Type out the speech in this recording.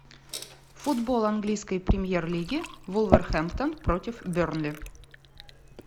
футбол английской премьер лиги вулверхэмптон против бернли